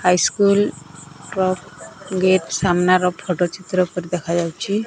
High school ର gate ସାମ୍ନା ର ଫଟୋ ଚିତ୍ର ପରି ଦେଖାଯାଉଛି।